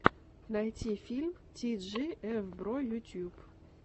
найти фильм ти джи эф бро ютуб